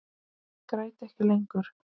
Ég græt ekki lengur.